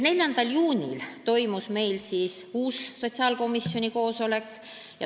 4. juunil toimus uus sotsiaalkomisjoni koosolek.